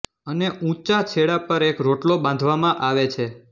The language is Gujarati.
અને ઉંચા છેડા પર એક રોટલો બાંધવામાં આવે છે